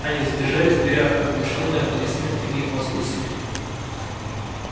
они задержались в дверях оглушённые аплодисментами и возгласами